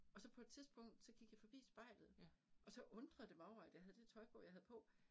Og så på et tidspunkt, så gik jeg forbi spejlet, og så undrede det mig over, at jeg havde det tøj på, jeg havde på